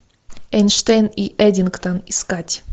эйнштейн и эддингтон искать